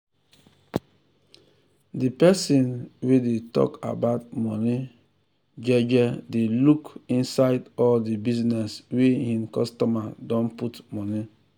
de person wey dey tok about money jeje dey look inside all de business wey hin customer don put money.